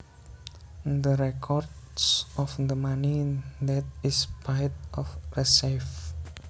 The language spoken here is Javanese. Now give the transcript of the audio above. The records of the money that is paid or received